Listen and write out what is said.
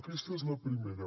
aquesta és la primera